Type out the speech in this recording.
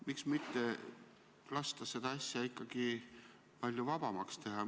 Miks mitte lasta seda asja ikkagi palju vabamalt teha?